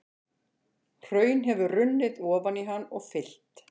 Hraun hefur runnið ofan í hann og fyllt.